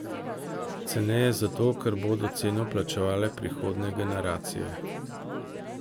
Ceneje zato, ker bodo ceno plačevale prihodnje generacije.